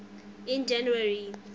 in january